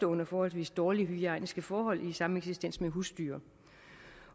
under forholdsvis dårlige hygiejniske forhold i sameksistens med husdyr